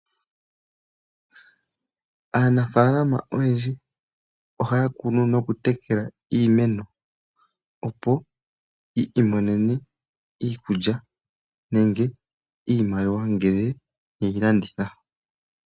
Aanafalama oyendji ohaya kunu noku tekela iimeno opo yi imonene mo iikulya neenge iimaliwa nele yeyi landitha.